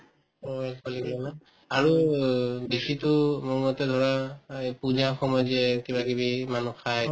অ, alcoholic না আৰু বেছিতো মোৰমতে ধৰা অ এই পূজা সময়ত যে কিবাকিবি মানুহ খায়